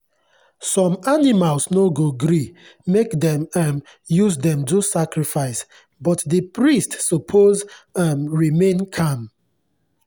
some animals no go gree make dem um use them do sacrifice but the priests suppose um remain calm.